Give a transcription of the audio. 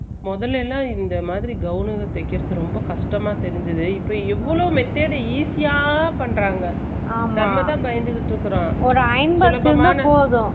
முதல்ல எல்லா இந்தமாதிரி தாவணி தேக்கிரது ரொம்ப கஷ்ட்டமா தெரிஞ்சது இப்போ எவ்ளோ method easy யா பண்றாங்க நம்மதா பயந்துட்டு இருக்கோ